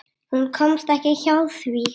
Hún komst ekki hjá því.